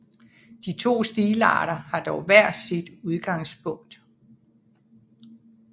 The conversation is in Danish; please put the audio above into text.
De to stilarter har dog hver sit udgangspunkt